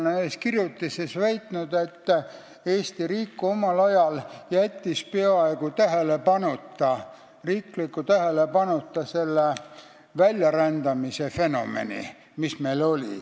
Ma olen ühes kirjutises väitnud, et Eesti riik jättis omal ajal peaaegu tähelepanuta selle väljarändamise fenomeni, mis meil oli.